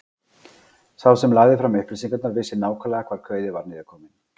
Sá sem lagði fram upplýsingarnar vissi nákvæmlega hvar kauði var niðurkominn.